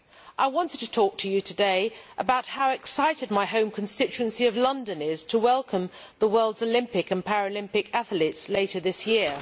I wanted to talk to you today about how excited my home constituency of London is to welcome the world's Olympic and Paralympics athletes later this year.